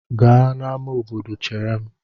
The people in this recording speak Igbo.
Gaa n'amá obodo chere m!